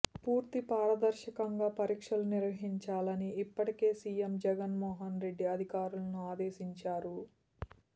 పూర్తి పారదర్శకంగా పరీక్షలు నిర్వహించాలని ఇప్పటికే సీఎం జగన్మోహన్ రెడ్డి అధికారులను ఆదేశించారు